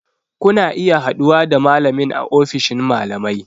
Kuna iya haɗuwa da malamin a ofishin malamai